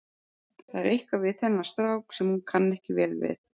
Það er eitthvað við þennan strák sem hún kann vel við.